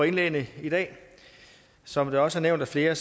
indlæggene i dag som det også er nævnt af flere